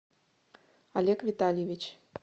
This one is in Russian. олег витальевич